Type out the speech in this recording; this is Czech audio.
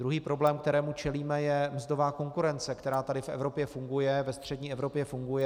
Druhý problém, kterému čelíme, je mzdová konkurence, která tady v Evropě funguje, ve střední Evropě funguje.